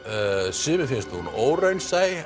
sumum finnst hún óraunsæ